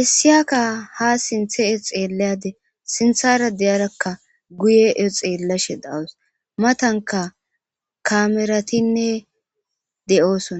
issiniyaka ha sinthe xeelashe issiniyaka guye xeelashe de'aws. Matanka kameratinne de'osona.